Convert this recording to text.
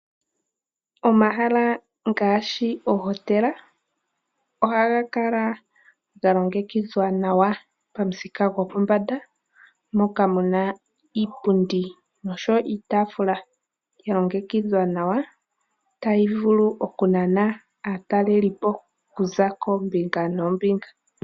Omahala ngaashi ohotela, oha ga kala ga longekidhwa nawa, pamuthika gopombanda, moka mu na iipundi nosho wo iitaafula ya longekidhwa nawa , tayi vulu okunana aatalelipo ku za koombinga noombinga.